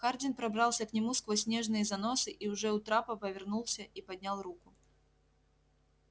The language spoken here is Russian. хардин пробрался к нему сквозь снежные заносы и уже у трапа повернулся и поднял руку